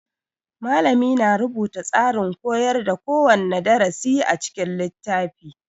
Malami na rubuta tsarin koyar da kowane darasi a cikin littafi